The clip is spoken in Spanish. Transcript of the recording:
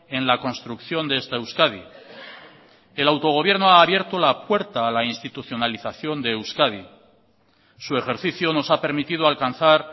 en la construcción de esta euskadi el autogobierno ha abierto la puerta a la institucionalización de euskadi su ejercicio nos ha permitido alcanzar